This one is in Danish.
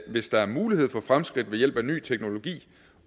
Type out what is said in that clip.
hvis der er mulighed for fremskridt ved hjælp af ny teknologi